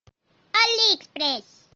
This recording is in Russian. алиэкспресс